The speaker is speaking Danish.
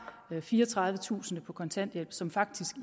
fireogtredivetusind på kontanthjælp som faktisk